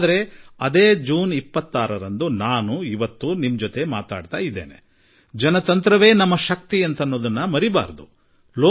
ಆದರೆ ಇಂದು ಜೂನ್ 26ರಂದು ನಾನು ನಿಮ್ಮೊಡನೆ ಮಾತನಾಡುತ್ತಿರುವಾಗ ನಮ್ಮ ಸಾರ್ಮರ್ಥ್ಯವೇ ಪ್ರಜಾಪ್ರಭುತ್ವ ಎಂಬ ಸಂಗತಿಯನ್ನು ನಾವು ಮರೆಯುವುದು ಬೇಡ